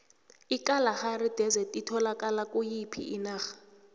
ikalahari desert itholakala kuyiphi inarha